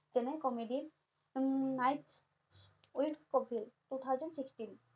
তেনে comedy ৰ হম night with Kapil two thousand sixteen